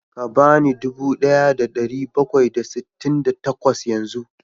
Ka ba ni dubu ɗaya da ɗari bakwai da sittin da takwas yanzu